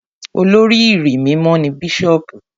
Olórí ìrí mímọ́ ni Bíṣọ̀bù.